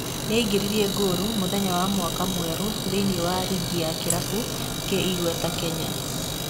Nĩaingĩririe ngoru mũthenya wa mwaka mwerũthĩiniĩ wa rigi ya kĩrabu kĩ-igweta Kenya.